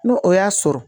N'o o y'a sɔrɔ